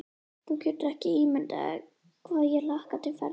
Þú getur ekki ímyndað þér hvað ég hlakka til ferðarinnar.